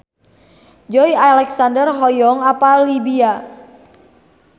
Joey Alexander hoyong apal Libya